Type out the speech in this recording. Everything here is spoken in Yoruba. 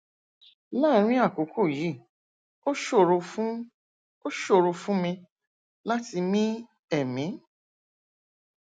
láàárín àkókò yìí ó ṣòro fún ó ṣòro fún mi láti mí ẹmí